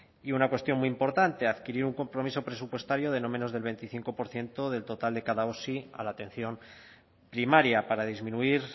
y una cuestión muy importante adquirir un compromiso presupuestario de no menos del veinticinco por ciento del total de cada osi a la atención primaria para disminuir